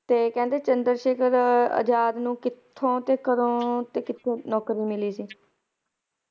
ਤੇ ਕਹਿੰਦੇ ਕਿ ਚੰਦਰ ਸ਼ੇਖਰ ਆਜ਼ਾਦ ਨੂੰ ਕਿਥੋਂ, ਕਦੋਂ ਤੇ ਕਿੱਥੇ ਨੌਕਰੀ ਮਿਲੀ ਸੀ?